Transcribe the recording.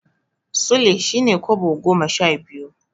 Sule shine Kobo goma sha biyu.